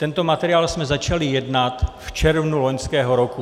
Tento materiál jsme začali jednat v červnu loňského roku.